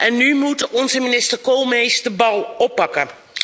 En nu moet onze minister Koolmees de bal oppakken.